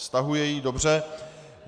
Stahuje ji, dobře.